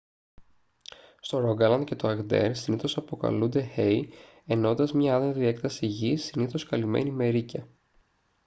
στο ρόγκαλαντ και το αγντέρ συνήθως αποκαλούνται «hei» εννοώντας μια άδενδρη έκταση γης συνήθως καλυμένη με ρείκια